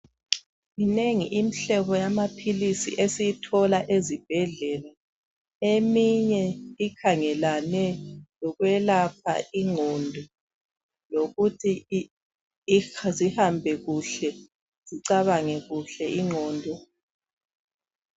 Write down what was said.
Minengi imihlobo yamaphilisi esiyithola ezibhedlela. Eminye ikhangelane lokwelapha ingqondo lokuthi zisebenze kuhle zicabange.